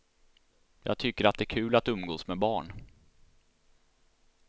Jag tycker att det är kul att umgås med barn.